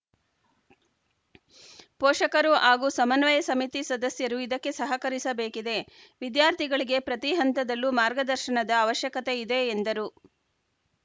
ಪೋಷಕರು ಹಾಗೂ ಸಮನ್ವಯ ಸಮಿತಿ ಸದಸ್ಯರು ಇದಕ್ಕೆ ಸಹಕರಿಸಬೇಕಿದೆ ವಿದ್ಯಾರ್ಥಿಗಳಿಗೆ ಪ್ರತಿ ಹಂತದಲ್ಲೂ ಮಾರ್ಗದರ್ಶನದ ಅವಶ್ಯಕತೆ ಇದೆ ಎಂದರು